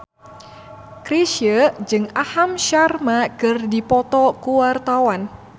Chrisye jeung Aham Sharma keur dipoto ku wartawan